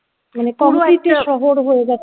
মানে concrete শহর হয়ে গেছে